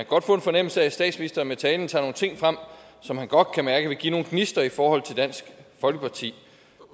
godt få en fornemmelse af at statsministeren med talen tager nogle ting frem som han godt kan mærke vil give nogle gnister i forhold til dansk folkeparti